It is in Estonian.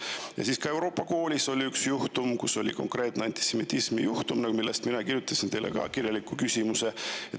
Ja ka Euroopa koolis oli üks juhtum, konkreetne antisemitismi juhtum, mille kohta ma kirjutasin teile kirjaliku küsimuse.